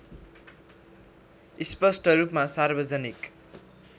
स्पष्ट रूपमा सार्वजनिक